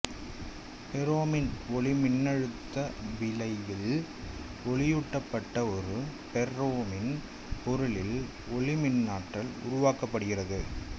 பெர்ரோமின் ஒளிமின்னழுத்த விளைவில் ஒளியூட்டப்பட்ட ஒரு பெர்ரோமின் பொருளில் ஒளிமின்னாற்றல் உருவாக்கப்படுகிறது